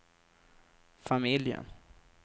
familjen